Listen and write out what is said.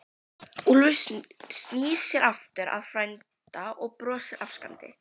Úlfur snýr sér aftur að frænda og brosir afsakandi.